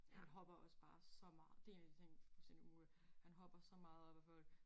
Han hopper også bare så meget det 1 af de ting fuldstændig umuligt han hopper så meget op ad folk